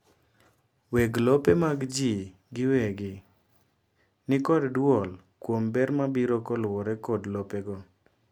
weg lope mag jii giwegi nikod duol kuom ber mabiro kaluwore kodlopego